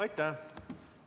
Aitäh!